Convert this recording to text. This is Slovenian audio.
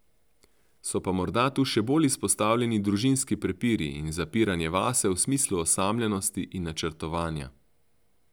So pa morda tu še bolj izpostavljeni družinski prepiri in zapiranje vase v smislu osamljenosti in načrtovanja.